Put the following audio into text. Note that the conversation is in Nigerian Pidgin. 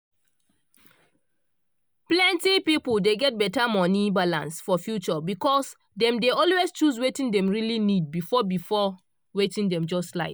plenti people dey get better money balance for future because dem dey always choose wetin dem really need before before wetin dem just like.